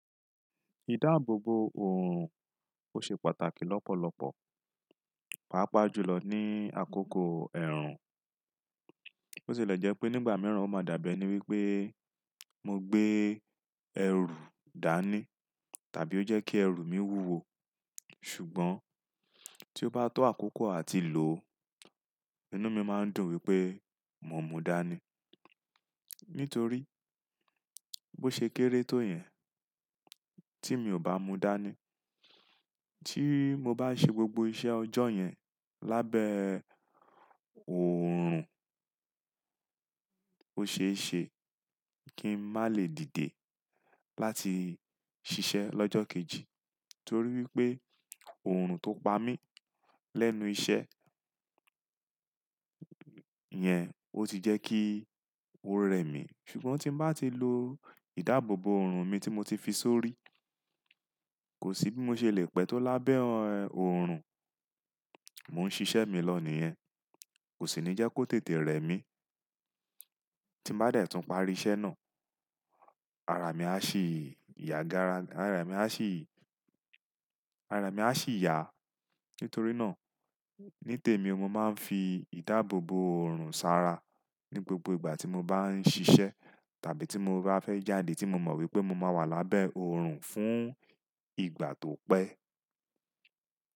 Ìdáàbòbo òòrùn ó ṣe pàtàkì lọ́pọ̀lọpọ̀, pàápàá jùlọ ní àkókò ẹ̀rùn. Ó sì le jẹ́ pé nígbà mìíràn ó máa dàbí ẹ ni wípé mo gbé ẹ̀rù dání tàbí ó jẹ́ kí ẹ̀rù mi wúwo. Ṣùgbọ́n tí ó bá tó àkókò àti lò, inú mi máa ń dùn wípé mo mú dání. Nítorí bó ṣe kéré tó yẹn tí mi ò bá mu dání, tí mo bá ṣe gbogbo iṣẹ́ ọjọ́ yẹn lábẹ́ òòrùn, ó ṣe é ṣe kín má lè dìde láti ṣiṣẹ́ lọ́jọ́ kejì. Torí wípé òòrùn tó pa mí lẹ́nu iṣẹ́ yẹn ó ti jẹ́ kí ó rẹ mí. Ṣùgbọ́n tín bá ti lo ìdáàbòbo òòrùn mi tí mo ti fi sórí, kò sí bí mo ṣe le pẹ́ tó lábẹ́ òòrùn, mò ń ṣiṣẹ́ mi lọ nìyẹn, kò sì ní jẹ́ kó tètè rẹ mí. Tín bá dẹ̀ tún parí iṣẹ́ náà, ara mi á sì yà gara ga, ara mi a sì ara mi á sì yà. Nítorí náà, ní tèmi o mo máa ń fi ìdáàbòbo òòrùn ṣàrà ní gbogbo ìgbà tí mo bá ń ṣiṣẹ́ tàbí tí mo bá fẹ́ jáde tí mo mọ̀ wípé mo máa wà lábẹ́ òòrùn fún ìgbà tó pẹ́.